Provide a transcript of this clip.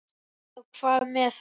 Já, hvað með þær?